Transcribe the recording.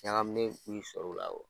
Ɲagaminen b'i sɔrɔ o la